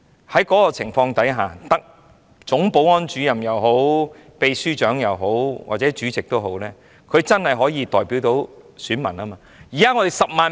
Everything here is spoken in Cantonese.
在這個情況下，總保安主任、秘書長或主席便真的可以代表選民。